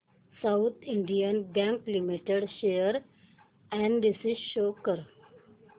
south Indian Bank Limited share analysis show कर